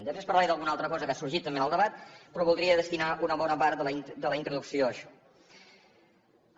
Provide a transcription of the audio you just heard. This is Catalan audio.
després parlaré d’alguna altra cosa que ha sorgit també en el debat però voldria destinar una bona part de la introducció a això